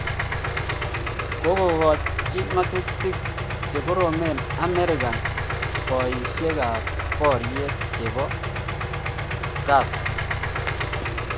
Kogogochi ngatutik che koroen amerika poishek ap poriet chepo CAR.